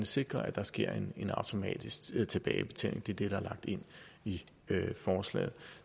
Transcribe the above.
sikre at der sker en automatisk tilbagebetaling det er det der er lagt ind i forslaget